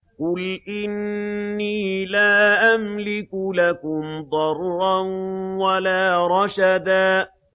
قُلْ إِنِّي لَا أَمْلِكُ لَكُمْ ضَرًّا وَلَا رَشَدًا